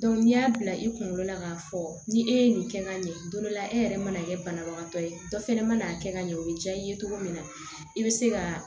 n'i y'a bila i kunkolo la k'a fɔ ni e ye nin kɛ ka ɲɛ dɔw la e yɛrɛ mana kɛ banabagatɔ ye dɔ fɛnɛ ma'a kɛ ka ɲɛ o bɛ diya i ye cogo min na i bɛ se ka